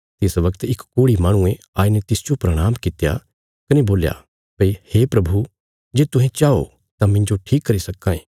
तिस वगत इक कोढ़ी माहणुये आईने तिसजो प्रणाम कित्या कने बोल्या भई हे प्रभु जे तुहें चाओ तां मिन्जो ठीक करी सक्कां